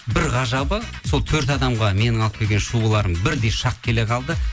бір ғажабы сол төрт адамға менің алып келген шубаларым бірдей шақ келе қалды